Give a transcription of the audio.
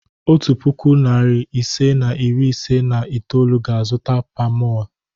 Otu puku, narị ise na iri ise na itoolu ga-azụta palmoil.